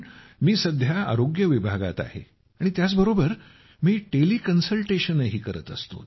कारण मी सध्या आरोग्य विभागात आहे आणि त्याबरोबरच मी टेलि कन्सलटेशनही करत असतो